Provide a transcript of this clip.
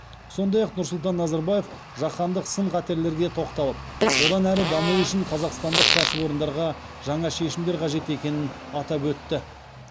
сондай ақ нұрсұлтан назарбаев жаһандық сын қатерлерге тоқталып одан әрі даму үшін қазақстандық кәсіпорындарға жаңа шешімдер қажет екенін атап өтті